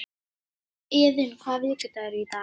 Iðunn, hvaða vikudagur er í dag?